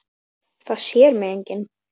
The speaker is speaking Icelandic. Það sér mig enginn.